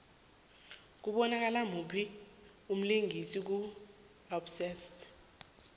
kubonakala muphi umlingisi ku obsessed